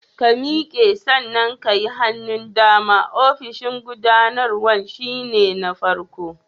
Ka miƙe, sannan ka yi hannun dama, ofishin gubanarwan shi ne na farkon.